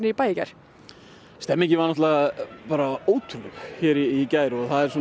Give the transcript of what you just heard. í bæ í gær stemningin var náttúrulega bara ótrúleg hér í gær